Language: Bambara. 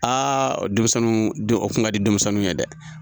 Aa denmisɛnnuw o kun ka di denmisɛnnuw ye dɛ